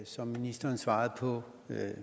som ministeren svarede på